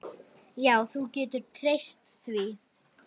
Jú, þú getur treyst því.